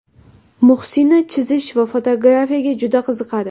Muhsina chizish va fotografiyaga juda qiziqadi.